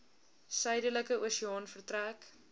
suidelike oseaan vertrek